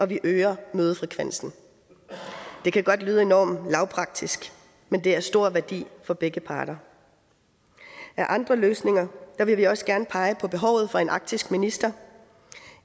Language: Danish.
vi øger mødefrekvensen det kan godt lyde enormt lavpraktisk men det er af stor værdi for begge parter af andre løsninger vil vi også gerne pege på behovet for en arktisk minister